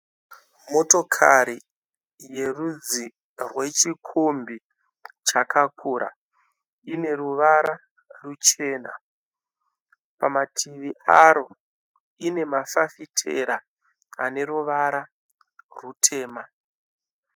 Motokari ine rudzi rwechikombi chakakura. Ine ruvara ruchena. Pamativi ayo ine mafafitera aneruvara rutema.